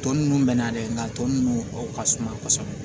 Tɔ ninnu mɛ na dɛ nka tɔ ninnu o ka suma kosɛbɛ